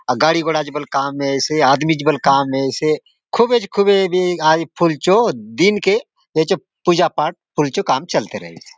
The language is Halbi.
गाड़ी घोडा़ चो बले काम ऐयसे आदमी चो बले काम ऐयसे खूबे - खूबे बे आ जी फुल चो दिन के एचो पुजा पाठ फुल चो काम चलते रहेसे।